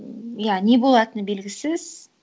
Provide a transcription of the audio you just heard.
м иә не болатыны белгісіз